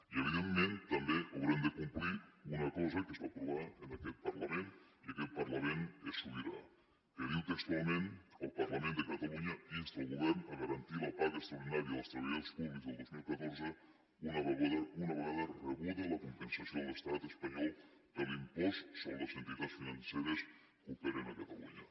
i evidentment també haurem de complir una cosa que es va aprovar en aquest parlament i aquest parlament és sobirà que diu textualment el parlament de catalunya insta el govern a garantir la paga extraordinària dels treballadors públics del dos mil catorze una vegada rebuda la compensació de l’estat espanyol de l’impost sobre les entitats financeres que operen a catalunya